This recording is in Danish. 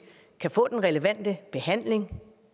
kan få den relevante behandling